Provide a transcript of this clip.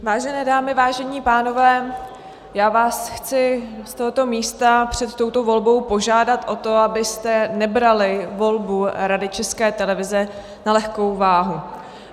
Vážené dámy, vážení pánové, já vás chci z tohoto místa před touto volbou požádat o to, abyste nebrali volbu Rady České televize na lehkou váhu.